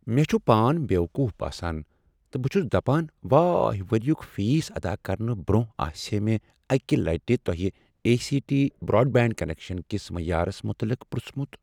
مےٚ چھ پان بیوقوف باسان تہٕ بہ چھس دپان واے ؤریک فیس ادا کرنہٕ برٛونٛہہ آسہ ہا مےٚ اکہ لٹہ تۄہہ A C T broadband connection کس معیارس متعلق پرٛژھمت